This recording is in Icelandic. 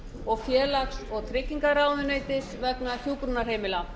og félags og tryggingaráðuneytis vegna hjúkrunarheimila